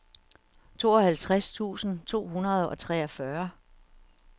tooghalvtreds tusind to hundrede og treogfyrre